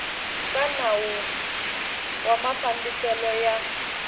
ka nawu wa mafambiselo ya